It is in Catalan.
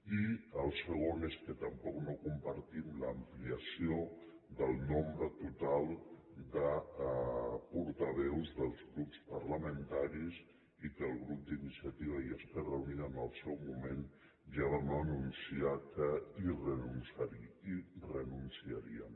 i el segon és que tampoc no compartim l’ampliació del nombre total de portaveus dels grups parlamentaris i que el grup d’iniciativa i esquerra unida en el seu moment ja vam anunciar que hi renunciaríem